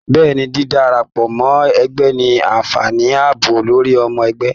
Bẹ́ẹ̀ni, dídárapọ mọ ẹgbẹ ní anfààní ààbò lórí ọmọ ẹgbẹ.